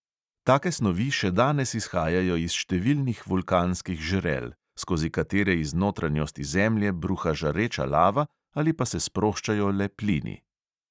Take snovi še danes izhajajo iz številnih vulkanskih žrel, skozi katere iz notranjosti zemlje bruha žareča lava ali pa se sproščajo le plini.